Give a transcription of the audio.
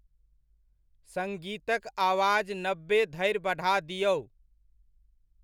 सङ्गीतक आवाज नबे धरि बढ़ा दिऔ।